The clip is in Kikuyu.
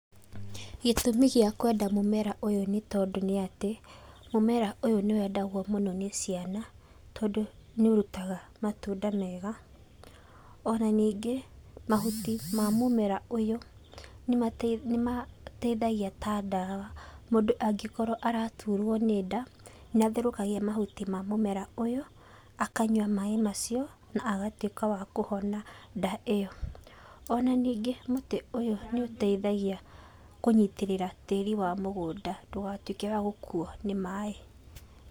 Gĩtũmi gĩa kwenda mũmera ũyũ nĩ tondũ nĩ atĩ, mũmera ũyũ nĩwendagwo mũno nĩ ciana, tondũ nĩũrutaga matunda mega. Ona ningĩ, mahuti ma mũmera ũyũ nĩmateithagia ta ndawa. Mũndũ angĩkorwo araturwo nĩ nda, nĩatherũkagia mahuti ma mũmera ũyũ akanyua maĩ macio, na agatuĩka wakũhona nda ĩyo. Ona ningĩ mũtĩ ũyũ nĩũteithagia kũnyĩtĩrĩra tĩri wa mũgũnda ndũgatuĩke wa gũkuo nĩ maĩ.